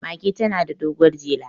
mage tana da doguwar jela